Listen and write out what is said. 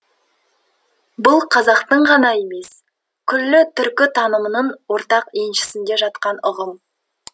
бұл қазақтың ғана емес күллі түркі танымының ортақ еншісінде жатқан ұғым